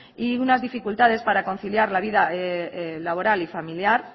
y unas dificultades para conciliar la vida laboral y familiar